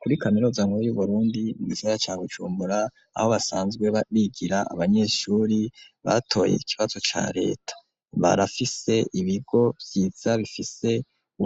Muri kaminuza nkuru y'Uburundi mu gisagara ca Bujumbura aho basanzwe bigira abanyeshure batoye ikibazo ca leta barafise ibigo vyiza bifise